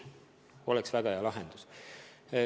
See oleks väga hea lahendus.